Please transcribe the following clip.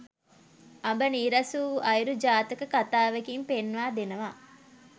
අඹ නීරස වූ අයුරු ජාතක කථාවෙකින් පෙන්වා දෙනවා.